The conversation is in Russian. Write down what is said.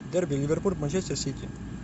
дерби ливерпуль манчестер сити